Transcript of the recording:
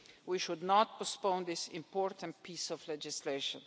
We should not postpone this important piece of legislation.